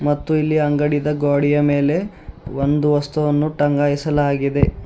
ಮತ್ತು ಇಲ್ಲಿ ಅಂಗಡಿದ ಗ್ವಾಡಿಯ ಮೇಲೆ ಒಂದು ವಸ್ತುವನ್ನು ಟಂಗಾಯಿಸಲಾಗಿದೆ